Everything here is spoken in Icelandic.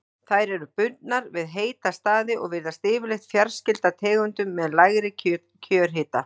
Þær eru bundnar við heita staði og virðast yfirleitt fjarskyldar tegundum með lægri kjörhita.